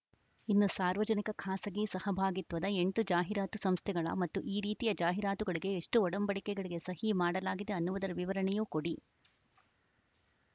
ಇನ್ನು ಸಾರ್ವಜನಿಕ ಖಾಸಗಿ ಸಹಭಾಗಿತ್ವದ ಎಂಟು ಜಾಹೀರಾತು ಸಂಸ್ಥೆಗಳ ಮತ್ತು ಈ ರೀತಿಯ ಜಾಹಿರಾತುಗಳಿಗೆ ಎಷ್ಟುಒಡಂಬಡಿಕೆಗಳಿಗೆ ಸಹಿ ಮಾಡಲಾಗಿದೆ ಅನ್ನುವುದರ ವಿವರಣೆಯೂ ಕೊಡಿ